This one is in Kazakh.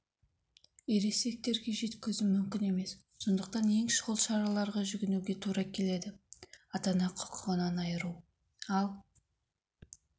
ересектерге жеткізу мүмкін емес сондықтан ең шұғыл шараларға жүгінуге тура келеді ата-ана құқығынан айыру ал